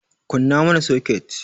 Kunna mana soket!